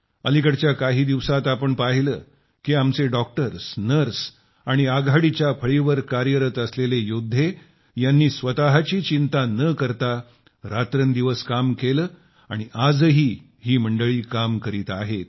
अलिकडेच्या दिवसातूच आपण पाहिलं की आमचे डॉक्टर्स नर्स आणि आघाडीच्या फळीवर कार्यरत असलेले योद्धे यांची स्वतःची चिंता न करता रात्रंदिवस काम केलं आणि आजही ही मंडळी काम करीत आहेत